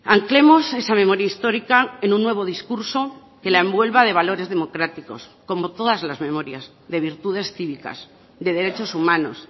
anclemos esa memoria histórica en un nuevo discurso que la envuelva de valores democráticos como todas las memorias de virtudes cívicas de derechos humanos